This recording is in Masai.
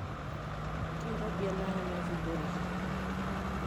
keirobi ene are naitukuoreki?